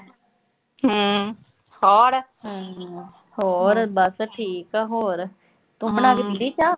ਹੋਰ ਬਸ ਠੀਕ ਆ। ਹੋਰ ਤੂੰ ਬਣਾ ਕੇ ਪੀਲੀ ਚਾਹ।